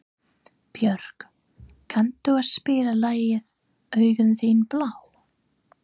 Björg, kanntu að spila lagið „Augun þín blá“?